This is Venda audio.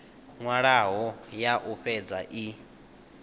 nwalwaho ya u fhedza i